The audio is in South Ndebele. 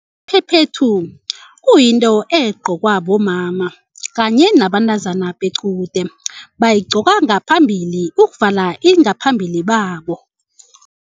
Iphephethu kuyinto egcokwa bomama kanye nabentazana bequde bayigcoka ngaphambili ukuvala ingaphambili babo.